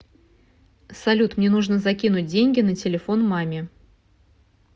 салют мне нужно закинуть деньги на телефон маме